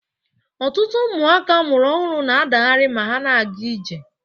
Ọtụtụ ụmụaka amụrụ ọhụrụ na-adaghari ma ha na-aga ije